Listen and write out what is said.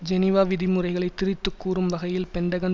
Geneva விதிமுறைகளை திரித்து கூறும் வகையில் பெண்டகன்